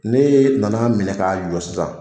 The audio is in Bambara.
N'e nana minɛ ka jɔ sisan